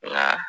Nka